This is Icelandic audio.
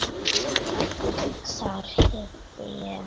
Þar hitti ég